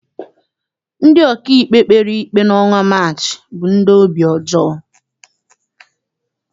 Ndị ọkaikpe kpere ikpe n'ọnwa Maachị bụ ndị obi ọjọọ.